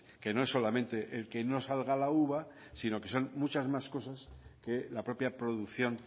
que no es solamente el que no salga la uva sino que son muchas más cosas que la propia producción